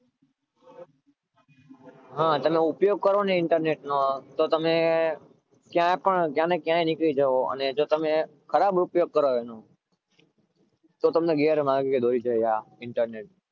હા તમે ઉપયોગ કરો internet નો તો તમને ક્યાંને ક્યાં નીકળી જાઓ પણ ખરાબ ઉપયોગ કરો તો તમને ગેરમાર્ગે દોરી જાય